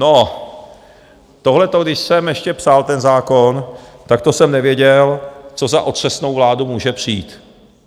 No, tohleto, když jsem ještě psal ten zákon, tak to jsem nevěděl, co za otřesnou vládu může přijít.